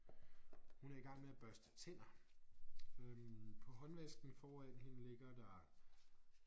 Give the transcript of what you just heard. Hun er i gang med at børste tænder øh på håndvasken foran hende ligger der